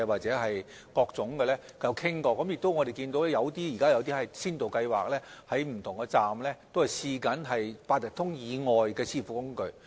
此外，我們現時亦有一些先導計劃，在不同車站試用八達通以外的支付工具。